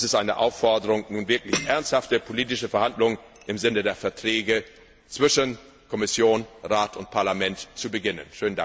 Dies ist eine Aufforderung, nun wirklich ernsthafte politische Verhandlungen im Sinne der Verträge zwischen Kommission, Rat und Parlament zu beginnen.